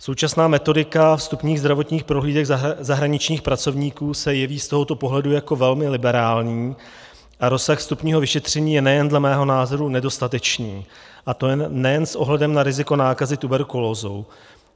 Současná metodika vstupních zdravotních prohlídek zahraničních pracovníků se jeví z tohoto pohledu jako velmi liberální a rozsah vstupního vyšetření je nejen dle mého názoru nedostatečný, a to nejen s ohledem na riziko nákazy tuberkulózou.